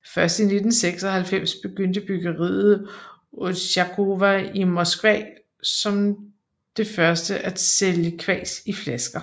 Først i 1996 begyndte bryggeriet Otsjakovo i Moskva som det første at sælge kvas i flasker